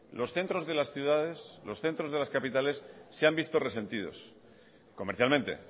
los centros de las ciudades los centros de las capitales se han visto resentidos comercialmente